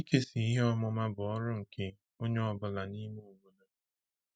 Ịkesa ihe ọmụma bụ ọrụ nke onye ọ bụla n’ime obodo.